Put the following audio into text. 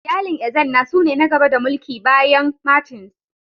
Iyalin Ezenna su ne na gaba da mulki bayan Martins.